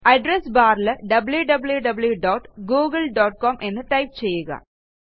address barൽ wwwgooglecom എന്ന് type ചെയ്യുക